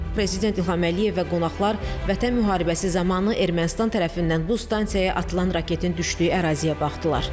Prezident İlham Əliyev və qonaqlar Vətən müharibəsi zamanı Ermənistan tərəfindən bu stansiyaya atılan raketin düşdüyü əraziyə baxdılar.